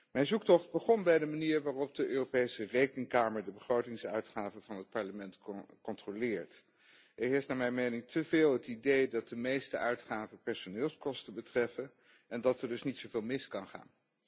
Mijn zoektocht begon bij de manier waarop de Europese Rekenkamer de begrotingsuitgaven van het Parlement controleert. Er heerst naar mijn mening te veel het idee dat de meeste uitgaven personeelskosten betreffen en dat er dus niet zoveel mis kan gaan.